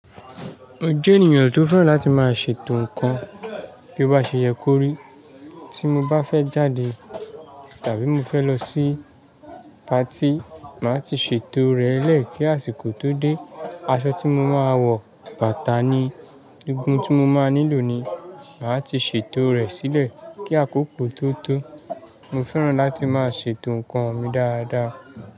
Mo jẹ ènìyàn tí ó fẹ láti ma ṣètò ǹkan, bí o bá ṣe yẹ kó rí. Tí mo bá fẹ jáde tàbí mo fẹ lọ sí pati, ma ti ṣètò rẹ lẹ kí àsìkò tó dé. Aṣọ tí mo má wọ, bàtà ni, egun ti mo má nílò ni, ma ti ṣètò rẹ silẹ kí àkókò tó to. Mo fẹ́ràn láti ma ṣètò ǹkan mi dáadáa.